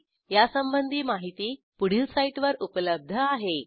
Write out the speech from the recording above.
।। 0957 । यासंबंधी माहिती पुढील साईटवर उपलब्ध आहे